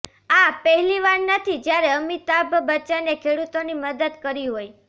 આ પહેલી વાર નથી જ્યારે અમિતાભ બચ્ચને ખેડૂતોની મદદ કરી હોય